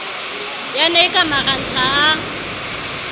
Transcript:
yane e ka marantha a